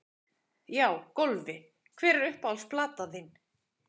Já Golfi Hver er uppáhalds platan þín?